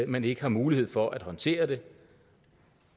man ikke har mulighed for at håndtere det